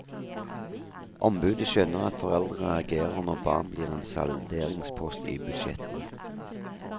Ombudet skjønner at foreldre reagerer når barn blir en salderingspost i budsjettene.